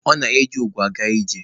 O na-eji ugwu aga ije.